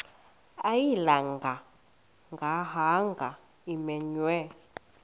ayilinga gaahanga imenywe